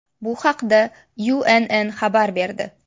Bu haqda UNN xabar berdi .